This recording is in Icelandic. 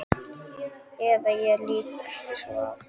Eða ég lít ekki svo á.